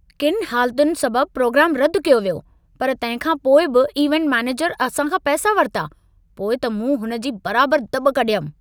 किनि हालतुनि सबब प्रोग्रामु रदि कयो वियो, पर तंहिं खां पोइ बि इवेंट मैनेजर असां खां पैसा वरिता। पोइ त मूं हुन जी बराबर दॿ कढियमि।